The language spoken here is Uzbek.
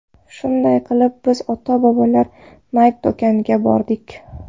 Shunday qilib biz ota-bolalar Nike do‘koniga bordik.